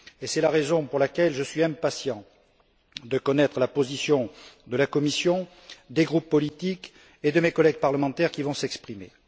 Et c'est la raison pour laquelle je suis impatient de connaître la position de la Commission, des groupes politiques et de mes collègues parlementaires qui vont s'exprimer.